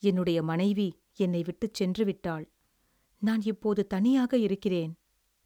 என்னுடைய மனைவி என்னை விட்டுச் சென்று விட்டாள். நான் இப்போது தனியாக இருக்கிறேன்.